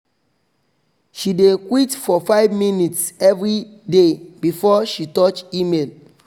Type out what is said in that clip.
she dey quite for 5 minutes everyday before she touch email